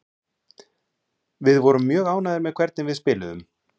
Við vorum mjög ánægðir með hvernig við spiluðum.